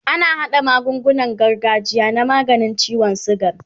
ana haɗa magungunan gargajiya na maganin ciwon sugar